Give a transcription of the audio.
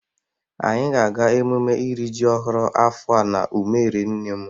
Anyị ga-aga emume iri ji ọhụrụ afọ a n'umere nne m.